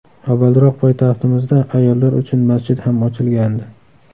Avvalroq poytaxtimizda ayollar uchun masjid ham ochilgandi.